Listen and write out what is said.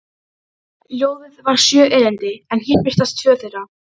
Ljóðið var sjö erindi en hér birtast tvö þeirra: